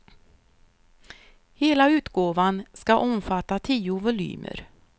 Hela utgåvan ska omfatta tio volymer.